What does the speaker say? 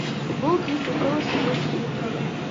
футбол кристал пэлас против ливерпуля